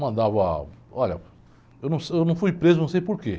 Mandava, olha, eu não, eu não fui preso, não sei por quê.